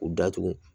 K'u datugu